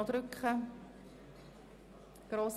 – Dies scheint der Fall zu sein.